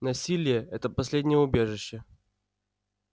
насилие это последнее убежище